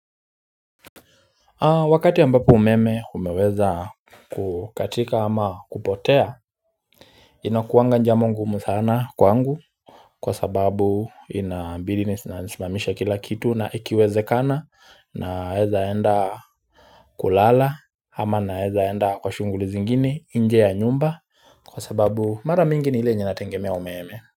Wakati ambapo umeme umeweza kukatika ama kupotea inakuanga jambo ngumu sana kwangu kwa sababu inabidi nisimamishe kila kitu na ikiwezekana naeza enda kulala ama naeza enda kwa shughuli zingine nje ya nyumba, kwa sababu mara mingi ni ile yenye nategemea umeme.